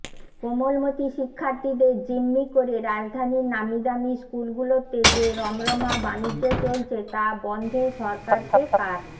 কোমলমতি শিক্ষার্থীদের জিম্মি করে রাজধানীর নামিদামি স্কুলগুলোতে যে রমরমা বাণিজ্য চলছে তা বন্ধে সরকারকে কার